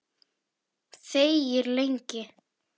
Þegir lengi.